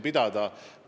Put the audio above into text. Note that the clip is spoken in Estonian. Mul on teile palve.